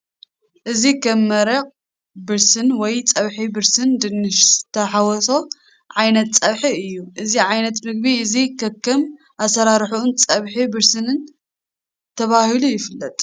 እዚ ከም መረቕ ብርሲን ወይ ፀብሒ ብርስን ድንሽ ዝተሓወሶ ዓይነት ፀብሒ እዩ ።እዚ ዓይነት ምግቢ እዚ ከከም ኣሰራርሑኡን ጸብሒ ብርሲን ተባሂሉ ይፍለጥ።